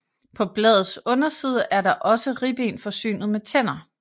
På bladets underside er også ribben forsynet med tænder